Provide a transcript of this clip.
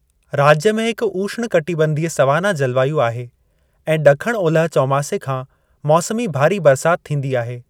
राज्य में हिक उष्णकटिबंधीय सवाना जलवायु आहे ऐं ॾखण ओलह चौमासे खां मौसमी भारी बरिसात थींदी आहे।